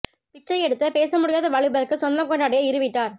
பிச்சை எடுத்த பேச முடியாத வாலிபருக்கு சொந்தம் கொண்டாடிய இரு வீட்டார்